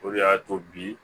O de y'a to bi